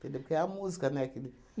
Ele quer é a música, né? Que ele